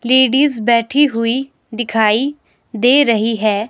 Ladies बैठी हुई दिखाई दे रही है।